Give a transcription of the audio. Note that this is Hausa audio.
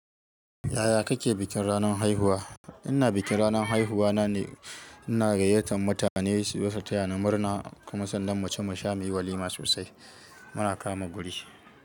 Yaya kake bikin ranar haihuwa? Ina bikin ranar haihuwa na ne, ina gayyatar mutane su zo su taya ni murna, kuma sannan mace mu sha mu yi walima sosai muna kama guri.